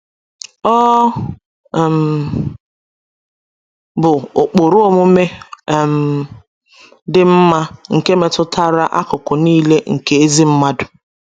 Ọ um bụ ụkpụrụ omume um dị mma nke metụtara akụkụ nile nke ezi ndụ.